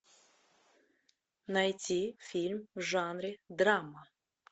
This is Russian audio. найти фильм в жанре драма